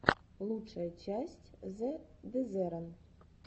лучшая часть зэ дезерон